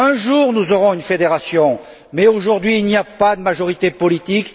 Un jour, nous aurons une fédération, mais aujourd'hui il n'y a pas de majorité politique.